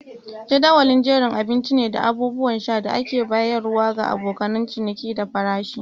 Jadawali jerin abinci ne da abubuwan sha da ake bayarwa ga abokan ciniki da farashi.